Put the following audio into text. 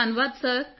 ਧੰਨਵਾਦ ਸਰ